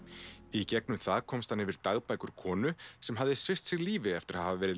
í gegnum það komst hann yfir dagbækur konu sem hafði svipt sig lífi eftir að hafa